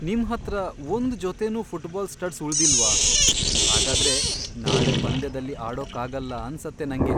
ನಿಮ್ಹತ್ರ ಒಂದ್ ಜೊತೆನೂ ಫುಟ್ಬಾಲ್ ಸ್ಟಡ್ಸ್ ಉಳ್ದಿಲ್ವಾ? ಹಾಗಾದ್ರೆ ನಾಳೆ ಪಂದ್ಯದಲ್ಲಿ ಆಡೋಕಾಗಲ್ಲ ಅನ್ಸತ್ತೆ ನಂಗೆ.